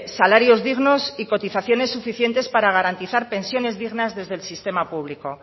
salarios dignos y cotizaciones suficientes para garantizar pensiones dignas desde el sistema público